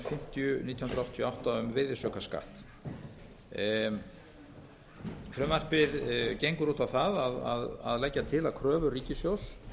fimmtíu nítján hundruð áttatíu og átta um virðisaukaskatt frumvarpið gengur út á það að leggja til að kröfur ríkissjóðs